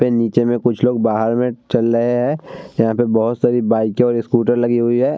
पे नीचे में कुछ लोग बाहार में चल लए हैं। यहाँ पे बोहोत सारी बाइके और स्कूटर लगी हुई हैं।